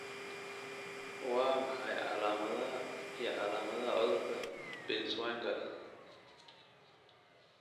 Waa maxay calaamadaha iyo calaamadaha cudurka Binswanger?